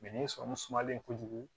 ni sɔrɔmu sumalen ko jugu